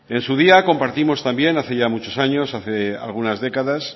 en su día compartimos también hace ya muchos años algunas décadas